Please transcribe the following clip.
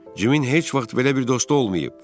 Cimin heç vaxt belə bir dostu olmayıb.